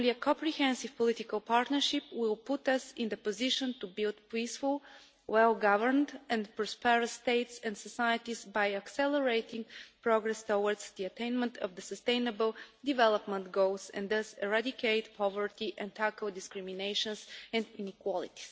Only a comprehensive political partnership will put us in a position to build peaceful, well governed and prosperous states and societies by accelerating progress towards the attainment of the Sustainable Development Goals and thus to eradicate poverty and tackle discrimination and inequality.